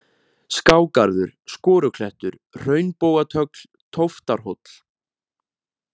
Skágarður, Skoruklettur, Hraunbogatögl, Tóftarhóll